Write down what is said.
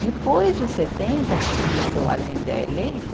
Depois de setenta, quando Allende é eleito,